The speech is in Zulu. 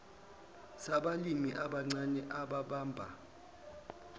sabalimi abancane ababamba